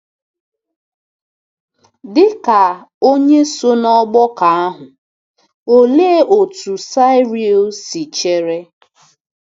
Dị ka onye so n'ọgbakọ ahụ, olee otú Siaril si chere?